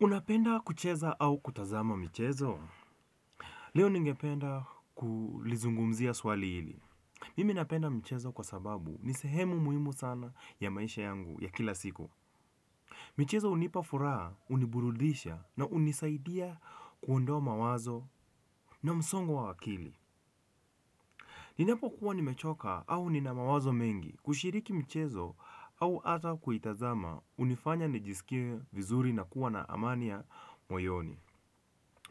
Unapenda kucheza au kutazama michezo? Leo ningependa kulizungumzia swali hili. Mimi napenda mchezo kwa sababu ni sehemu muhimu sana ya maisha yangu ya kila siku. Michezo hunipa furaha, huniburudisha na hunisaidia kuondoa mawazo na msongo wa akili. Ninapokuwa nimechoka au nina mawazo mengi kushiriki mchezo au hata kuitazama hunifanya nijisikie vizuri na kuwa na amani ya moyoni.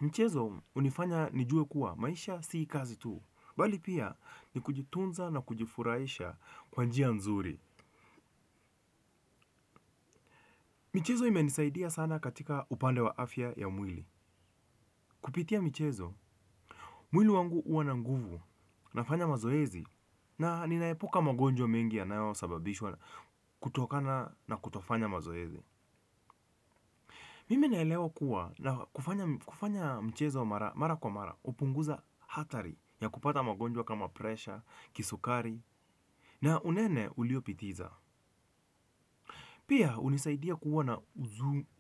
Mchezo hunifanya nijue kuwa maisha si kazi tu bali pia ni kujitunza nakujifurahisha kwa njia nzuri. Michezo imenisaidia sana katika upande wa afya ya mwili. Kupitia michezo, mwili wangu huwa na nguvu nafanya mazoezi na ninaepuka magonjwa mengi yanayosababishwa kutokana na kutofanya mazoezi. Mimi naelewa kuwa na kufanya mchezo mara kwa mara hupunguza hatari ya kupata magonjwa kama presha, kisukari na unene uliopitiza. Pia hunisaidia kuwa na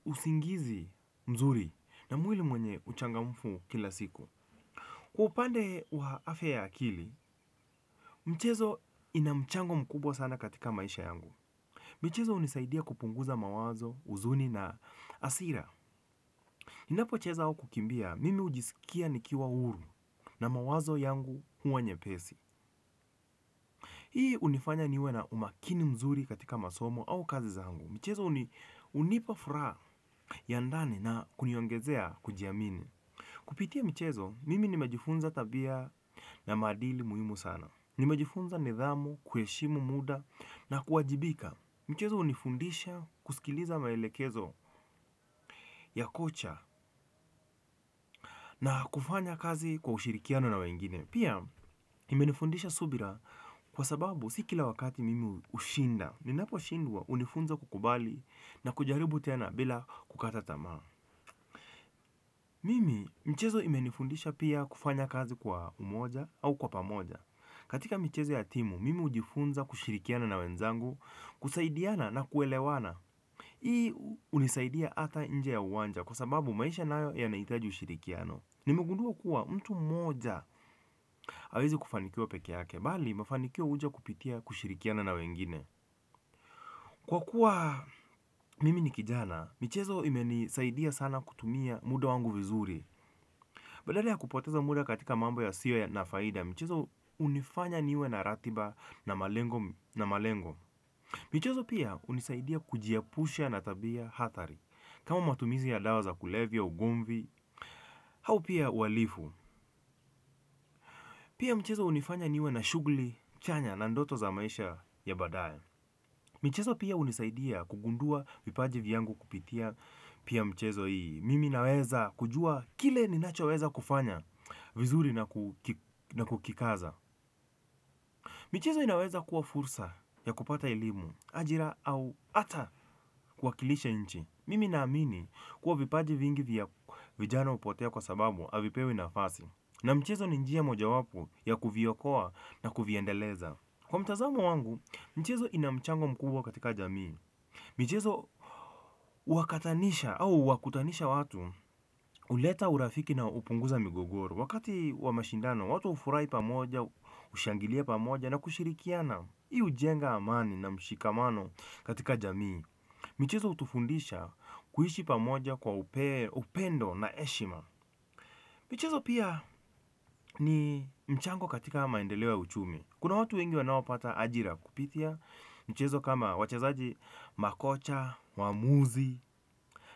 usingizi mzuri na mwili mwenye uchangamfu kila siku. Kwa upande wa afya ya akili, mchezo ina mchango mkubwa sana katika maisha yangu. Mchezo unisaidia kupunguza mawazo, uzuni na asira. Ninapocheza au kukimbia, mimi hujisikia nikiwa huru na mawazo yangu huwa nyepesi. Hii hunifanya niwe na umakini mzuri katika masomo au kazi zangu. Michezo hunipa furaha ya ndani na kuniongezea kujiamini. Kupitia michezo, mimi nimejifunza tabia na maadili muhimu sana. Nimejifunza nidhamu, kuheshimu muda na kuwajibika. Michezo hunifundisha kusikiliza maelekezo ya kucha na kufanya kazi kwa ushirikiano na wengine. Pia imenifudisha subira kwa sababu si kila wakati mimi hushinda ninaposhindwa hunifunza kukubali na kujaribu tena bila kukata tamaa mimi mchezo imenifundisha pia kufanya kazi kwa umoja au kwa pamoja. Katika mchezo ya timu, mimi ujifunza kushirikiana na wenzangu, kusaidiana na kuelewana. Hii hunisaidia hata nje ya uwanja kwa sababu maisha nayo yanahitaji ushirikiano. Nimegundua kuwa mtu mmoja hawezi kufanikiwa peke yake, bali mafanikio huja kupitia kushirikiana na wengine. Kwa kuwa mimi ni kijana, michezo imenisaidia sana kutumia muda wangu vizuri. Badala ya kupoteza muda katika mambo yasiyo na faida, michezo hunifanya niwe na ratiba na malengo na malengo. Michezo pia hunisaidia kujiepusha na tabia hatari, kama matumizi ya dawa za kulevya ugomvi, au pia uhalifu. Pia mchezo hunifanya niwe na shughuli chanya na ndoto za maisha ya baadaye. Michezo pia hunisaidia kugundua vipaji vyangu kupitia pia mchezo hii. Mimi naweza kujua kile ninachoweza kufanya vizuri na kukikaza. Michezo inaweza kuwa fursa ya kupata elimu, ajira au hata kuwakilisha nchi. Mimi naamini kuwa vipaji vingi vya vijana hupotea kwa sababu havipewi nafasi. Na mchezo ni njia mojawapo ya kuviokoa na kuviendeleza. Kwa mtazamo wangu, mchezo ina mchango mkubwa katika jamii. Michezo huwakatanisha au huwakutanisha watu huleta urafiki na hupunguza migogoro. Wakati wa mashindano, watu hufurahi pamoja, hushangilia pamoja na kushirikiana. Hii hujenga amani na mshikamano katika jamii. Michezo hutufundisha kuishi pamoja kwa upendo na heshima. Michezo pia ni mchango katika maendeleo ya uchumi. Kuna watu wengi wanaopata ajira kupitia. Michezo kama wachezaji makocha, waamuzi.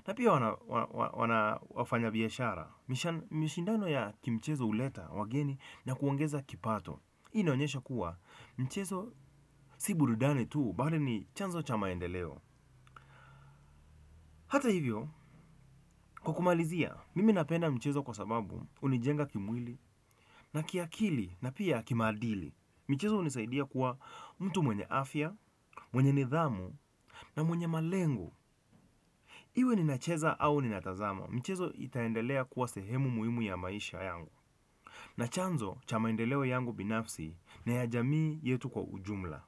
Na pia wana wafanya biashara. Mishindano ya kimchezo huleta wageni na kuongeza kipato. Hii inaonyesha kuwa mchezo si burudani tu bali ni chanzo cha maendeleo. Hata hivyo, kwa kumalizia, mimi napenda mchezo kwa sababu hunijenga kimwili na kiakili na pia kimaadili. Michezo hunisaidia kuwa mtu mwenye afya, mwenye nidhamu na mwenye malengo. Iwe ninacheza au ninatazama, michezo itaendelea kuwa sehemu muhimu ya maisha yangu. Na chanzo cha maendeleo yangu binafsi na ya jamii yetu kwa ujumla.